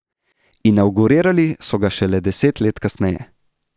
Inavgurirali so ga šele deset let kasneje.